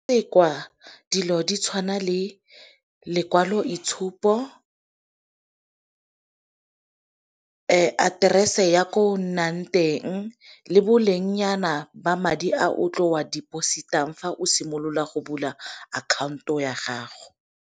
dilo di tshwana le lekwaloitshupo, aterese ya ko nnang teng, le boleng nyana ba madi a o tlo a deposit-ang fa o simolola go bula akhaonto ya gago.